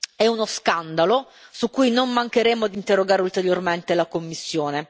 È uno scandalo su cui non mancheremo di interrogare ulteriormente la Commissione.